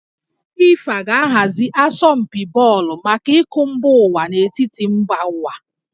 FIFA ga-ahazi asọmpi bọọlụ maka iko mba ụwa n'etiti mba ụwa